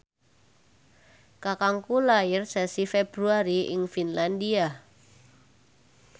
kakangku lair sasi Februari ing Finlandia